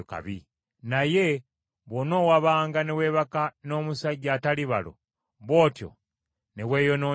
Naye bw’onoowabanga ne weebaka n’omusajja atali balo, bw’otyo ne weeyonoonyesa,